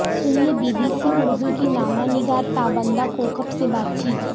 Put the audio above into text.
سنیئے B B C Urdu کی نامہ نگار تابندہ کوکب سے بات چیت